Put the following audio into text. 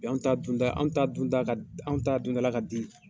anw ta dunda an ta dunda anw ta dundala ka di.